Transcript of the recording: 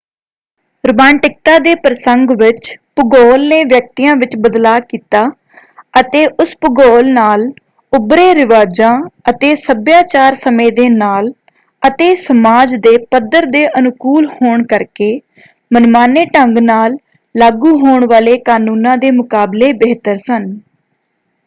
ਰੁਮਾਂਟਿਕਤਾ ਦੇ ਪ੍ਰਸੰਗ ਵਿੱਚ ਭੂਗੋਲ ਨੇ ਵਿਅਕਤੀਆਂ ਵਿੱਚ ਬਦਲਾਅ ਕੀਤਾ ਅਤੇ ਉਸ ਭੂਗੋਲ ਨਾਲ ਉਭਰੇ ਰਿਵਾਜਾਂ ਅਤੇ ਸੱਭਿਆਚਾਰ ਸਮੇਂ ਦੇ ਨਾਲ ਅਤੇ ਸਮਾਜ ਦੇ ਪੱਧਰ ਦੇ ਅਨੁਕੂਲ ਹੋਣ ਕਰਕੇ ਮਨਮਾਨੇ ਢੰਗ ਨਾਲ ਲਾਗੂ ਹੋਣ ਵਾਲੇ ਕਾਨੂੰਨਾਂ ਦੇ ਮੁਕਾਬਲੇ ਬਿਹਤਰ ਸਨ।